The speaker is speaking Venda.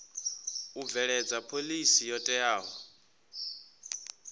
u bveledza phoḽisi yo teaho